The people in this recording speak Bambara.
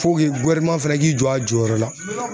fɛnɛ k'i jɔ a jɔyɔrɔ la.